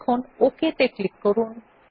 এখন ওক ত়ে ক্লিক করুন